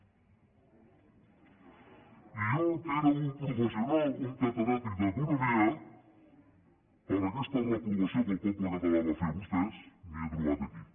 i jo que era un professional un catedràtic d’economia per aquesta reprovació que el poble català va fer a vostès m’he trobat aquí